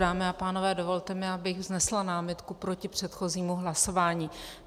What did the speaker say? Dámy a pánové, dovolte mi, abych vznesla námitku proti předchozímu hlasování.